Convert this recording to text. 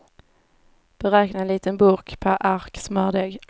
Beräkna en liten burk per ark smördeg.